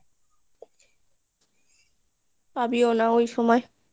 পাবিও না ওই সময়